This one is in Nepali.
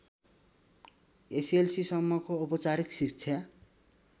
एसएलसीसम्मको औपचारिक शिक्षा